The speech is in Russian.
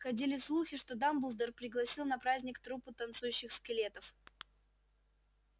ходили слухи что дамблдор пригласил на праздник труппу танцующих скелетов